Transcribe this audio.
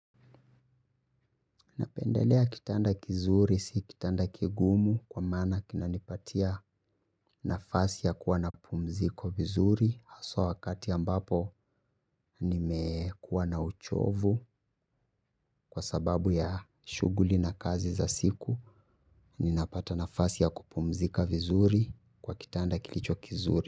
Napendelea kitanda kizuri, si kitanda kigumu kwa maana kinanipatia nafasi ya kuwa napumziko vizuri. Haswa, wakati ambapo nimekuwa na uchovu, kwa sababu ya shughuli na kazi za siku. Ninapata nafasi ya kupumzika vizuri, kwa kitanda kilicho kizuri.